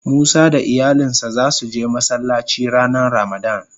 Musa da iyalin sa za su je Masallaci ranan ramadan.